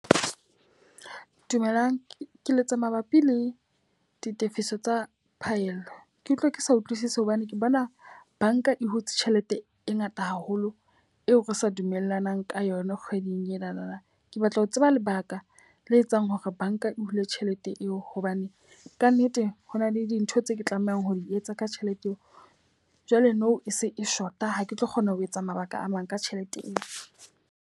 Dumelang, ke letsa mabapi le ditefiso tsa phaello. Ke utlwa ke sa utlwisise hobane ke bona banka e hutse tjhelete e ngata haholo eo re sa dumellanang ka yona kgweding enana. Ke batla ho tseba lebaka le etsang hore banka e hula tjhelete eo? Hobane ka nnete ho na le dintho tse ke tlamehang ho di etsa ka tjhelete eo. Jwale nou e se e short-a ha ke tlo kgona ho etsa mabaka a mang ka tjhelete eo.